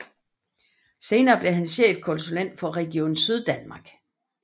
Senere blev han chefkonsulet for Region Syddanmark